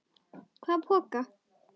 Hvaða poka?